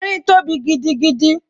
Erin tóbi gidigidi